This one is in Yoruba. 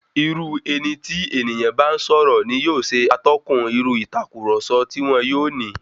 Irú eni tí ènìyàn ń bá sọ̀rọ̀ ni yóò ṣe atọ́kùn irú ìtàkurọ̀sọ tí wọn yóò ní.